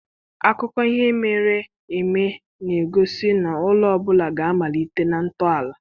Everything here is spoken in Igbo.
Akụkọ ihe mere eme na-egosi na ụlọ ọ bụla ga-amalite na ntọala.